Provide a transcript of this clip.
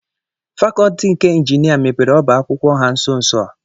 fàkọọtị nke injinia mepere ọba akwụkwọ ha nso nso a